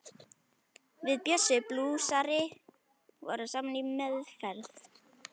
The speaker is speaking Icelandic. Við Bjössi blúsari vorum saman í meðferð.